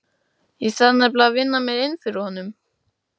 Ég þarf nefnilega að vinna mér inn fyrir honum.